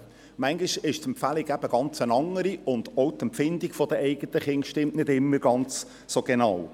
– Manchmal ist die Empfehlung eine ganz andere, und auch die Empfindung bei den eigenen Kindern stimmt nicht immer ganz so genau.